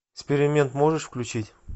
эксперимент можешь включить